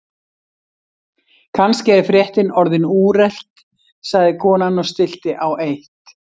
Kannski er fréttin orðin úrelt sagði konan og stillti á eitt.